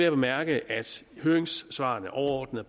at bemærke at høringssvarene overordnet